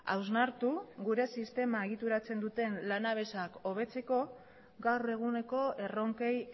hausnartu gure sistema egituratzen duten lanabesak hobetzeko gaur eguneko erronkei